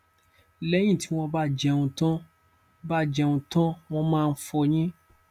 lẹyìn tí wọn bá jẹun tán bá jẹun tán wọn máa ń fọyín